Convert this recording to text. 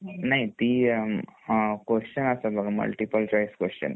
नाही ती अ क्वेस्चन असतात बघा मल्टिपल चॉइस क्वेस्चन